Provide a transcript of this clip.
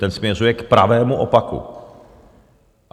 Ten směřuje k pravému opaku.